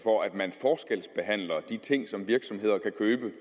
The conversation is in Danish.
for at man forskelsbehandler de ting som virksomheder kan købe